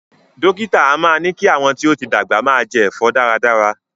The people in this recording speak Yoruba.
Dókítà a máa ní kí àwọn tí ó ti dàgbà máa jẹ ẹ̀fọ́ dára dára